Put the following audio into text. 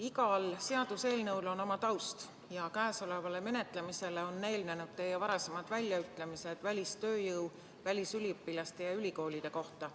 Igal seaduseelnõul on oma taust ja käesolevale menetlemisele on eelnenud teie varasemad väljaütlemised välistööjõu, välisüliõpilaste ja ülikoolide kohta.